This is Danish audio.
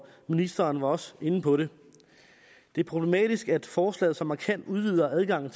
ministeren var også inde på det det er problematisk at forslaget så markant udvider adgangen